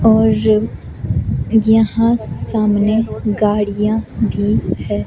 और यहाँ सामने गाड़ियां भी है।